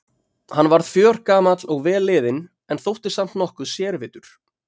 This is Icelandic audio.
Hann varð fjörgamall og vel liðinn- en þótti samt nokkuð sérvitur.